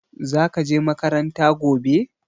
Za ka je makaranta gobe?